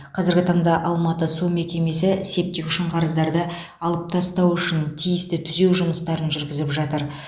қазіргі таңда алматы су мекемесі септик үшін қарыздарды алып тастау үшін тиісті түзеу жұмыстарын жүргізіп жатыр